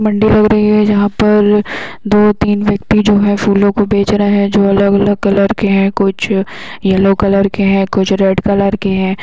मंडी लग रही है जहां पर दो तीन व्यक्ति जो है फूलो को बेच रहे है जो अलग अलग कलर के है कुछ येलो कलर के है कुछ रेड कलर के हैं।